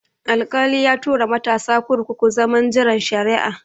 Alkali ya tura matasa kurkuku zaman jiran shari'a